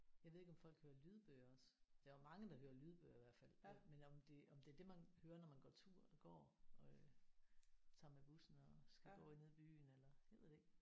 Jeg ved ikke om folk hører lydbøger også der er jo mange der hører lydbøger i hvert fald men om det om det er det man hører når man går tur går øh tager med bussen og skal gå nede i byen eller jeg ved det ikke